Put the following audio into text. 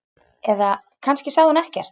Eða kannski sagði hún ekkert.